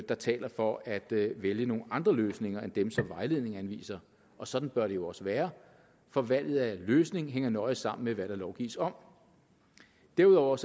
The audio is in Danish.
der taler for at vælge nogle andre løsninger end dem som vejledningen anviser og sådan bør det jo også være for valget af løsning hænger nøje sammen med hvad der lovgives om derudover